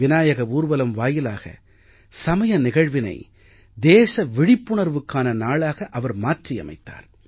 விநாயக ஊர்வலம் வாயிலாக சமய நிகழ்வினை தேச விழிப்புணர்வுக்கான நாளாக அவர் மாற்றியமைத்தார்